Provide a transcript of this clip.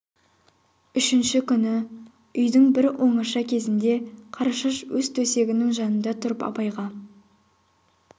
үшінші күні үйдің бір оңаша кезінде қарашаш өз төсегінің жанында тұрып абайға